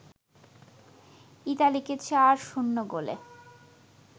ইতালিকে ৪-০ গোলে